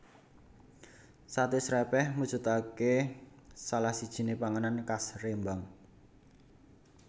Sate Srèpèh mujudake salah sijiné panganan khas Rembang